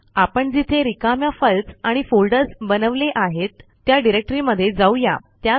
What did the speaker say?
आपण जिथे रिकाम्या फाईल्स आणि फोल्डर्स बनवले आहेत त्या डिरेक्टरीमध्ये जाऊ या